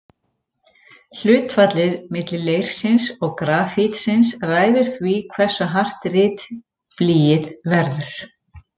Hlutfallið milli leirsins og grafítsins ræður því hversu hart ritblýið verður.